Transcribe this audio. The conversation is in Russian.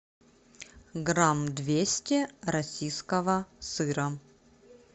грамм двести российского сыра